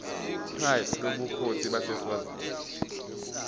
pride lobukhosi baseswazini